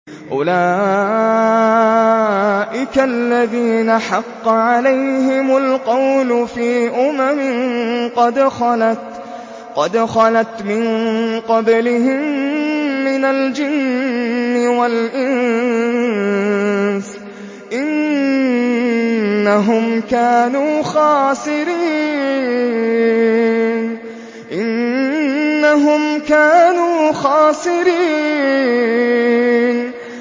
أُولَٰئِكَ الَّذِينَ حَقَّ عَلَيْهِمُ الْقَوْلُ فِي أُمَمٍ قَدْ خَلَتْ مِن قَبْلِهِم مِّنَ الْجِنِّ وَالْإِنسِ ۖ إِنَّهُمْ كَانُوا خَاسِرِينَ